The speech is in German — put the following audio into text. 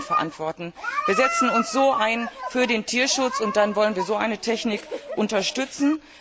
Können wir das denn verantworten? Wir setzen uns so für den Tierschutz ein und dann wollen wir so eine Technik unterstützen?